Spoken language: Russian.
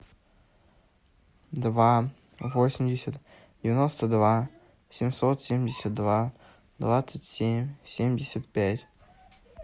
два восемьдесят девяносто два семьсот семьдесят два двадцать семь семьдесят пять